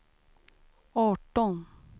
arton